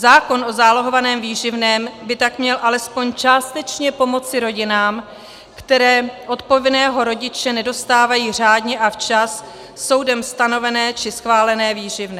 Zákon o zálohovaném výživném by tak měl alespoň částečně pomoci rodinám, které od povinného rodiče nedostávají řádně a včas soudem stanovené či schválené výživné.